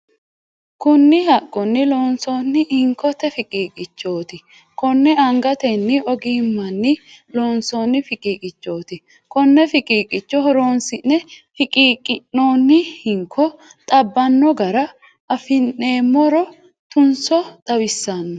Kunni haqunni loonsoonni hinkote fiqiiqichooti. Konne angatenni ogimmanni loonsoonni fiqiiqichooti konne fiqiiqicho horoonsi'ne fiqiiqinoonni hinko xabbano gara afinoomero tunso xawisano.